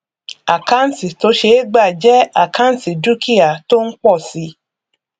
àkáǹtì tó ṣe é gbà jẹ àkáǹtì dúkìá tó ń pọ si